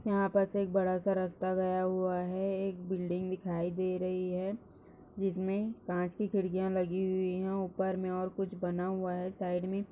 यहाँ पर से एक बड़ा सा रास्ता गया हुआ हैंएक बिल्डिंग दिखाई दे रही हैं जिसमे कांच की खिड़खिया लगी हुई हैं ऊपर मे और कुछ बना हुआ हैं साइड मे--